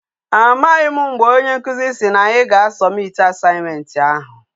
Amaghim mgbe Onye nkuzi si na anya ga submit Assignment ahu